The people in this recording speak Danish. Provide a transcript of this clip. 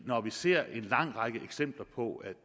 når vi ser en lang række eksempler på at